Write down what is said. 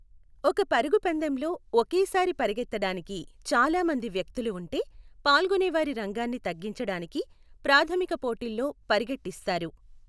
ఒక పరుగు పందెంలో ఒకేసారి పరుగెత్తడానికి చాలా మంది వ్యక్తులు ఉంటే, పాల్గొనేవారి రంగాన్ని తగ్గించడానికి ప్రాధమిక పోటీల్లో పరుగెట్టిస్తారు .